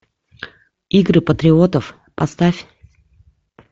игры патриотов поставь